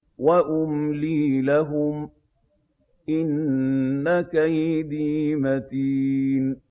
وَأُمْلِي لَهُمْ ۚ إِنَّ كَيْدِي مَتِينٌ